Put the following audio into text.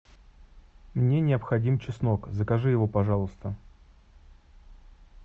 мне необходим чеснок закажи его пожалуйста